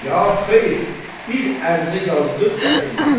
Ya xeyr, bir ərizə yazdır, gətir mənə.